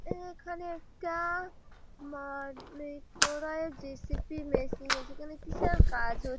এখানে একটা মাটি খোঁড়ার জে.সি.বি. মেশিন আছে এখানে কিসের কাজ হছ--